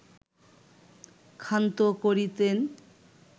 ক্ষান্ত করিতেন